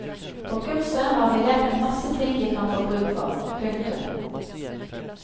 På kurset har vi lært en masse ting vi kan få bruk for. punktum